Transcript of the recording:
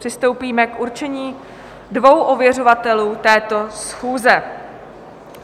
Přistoupíme k určení dvou ověřovatelů této schůze.